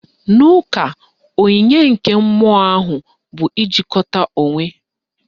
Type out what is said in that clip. N'ụka, onyinye nke mmụọ ahụ bụ ijikwata onwe